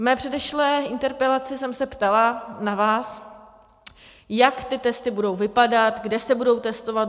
V mé předešlé interpelaci jsem se ptala na vás, jak ty testy budou vypadat, kde se budou testovat?